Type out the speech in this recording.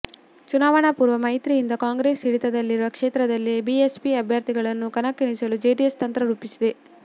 ಚುನಾವಣಾ ಪೂರ್ವ ಮೈತ್ರಿಯಿಂದ ಕಾಂಗ್ರೆಸ್ ಹಿಡಿತದಲ್ಲಿರುವ ಕ್ಷೇತ್ರಗಳಲ್ಲಿ ಬಿಎಸ್ಪಿ ಅಭ್ಯರ್ಥಿಗಳನ್ನು ಕಣಕ್ಕಿಳಿಸಲು ಜೆಡಿಎಸ್ ತಂತ್ರ ರೂಪಿಸಿದೆ